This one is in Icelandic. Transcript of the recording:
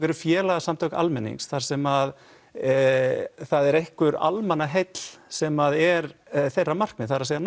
eru félagasamtök almennings þar sem er einhver almannaheill sem er þeirra markmið það er